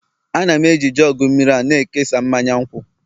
Ana m eji jugu mmiri a na-ekesa mmanya nkwụ